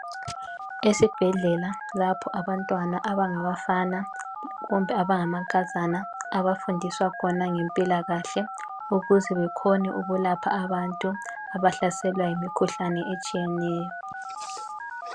Esibhedlela lapho abantwana abangabafana kumbe abangamankazana abafundiswa khona ngempilakahle ukuze bekhone ukulapha abantu abahlaselwa yimikhuhlane etshiyeneyo